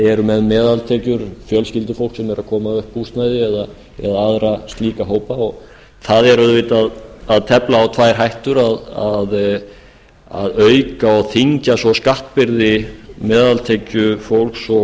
eru með meðaltekjur fjölskyldufólk sem er að koma upp húsnæði eða aðra slíka hópa og það er auðvitað að tefla á tvær hættur að auka og þyngja svo skattbyrði meðaltekjufólks